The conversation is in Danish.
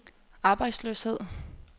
arbejdsløshed